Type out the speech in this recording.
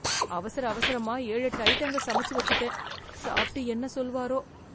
அவசர அவசரமா ஏழெட்டு அயிட்டங்கள் சமைச்சு வெச்சுட்டேன்... சாப்ட்டு என்ன சொல்வாரோ...